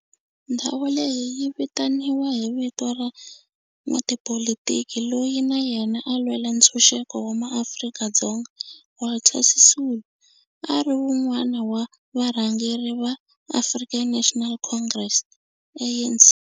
Ndhawu leyi yi vitaniwa hi vito ra n'watipolitiki loyi na yena a lwela ntshuxeko wa maAfrika-Dzonga Walter Sisulu, a ri wun'wana wa varhangeri va African National Congress, ANC.